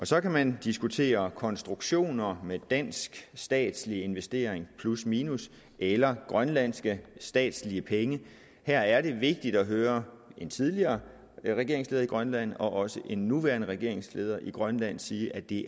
så kan man diskutere konstruktioner med dansk statslig investering plusminus eller grønlandske statslige penge her er det vigtigt at høre en tidligere regeringsleder i grønland og også en nuværende regeringsleder i grønland sige at det